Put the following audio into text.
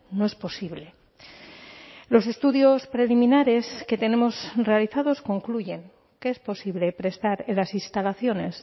no es posible los estudios preliminares que tenemos realizados concluyen que es posible prestar en las instalaciones